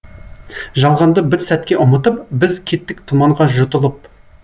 жалғанды бір сәтке ұмытып біз кеттік тұманға жұтылып